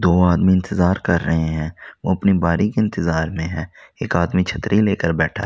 दो आदमी इंतजार कर रहे हैं वो अपनी बारी के इंतजार में है एक आदमी छतरी लेकर बैठा--